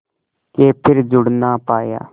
के फिर जुड़ ना पाया